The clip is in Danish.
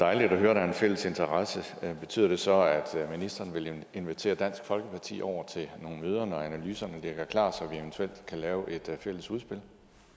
dejligt at høre at der er en fælles interesse betyder det så at ministeren vil invitere dansk folkeparti over til nogle møder når analyserne ligger klar så vi eventuelt kan lave et fælles udspil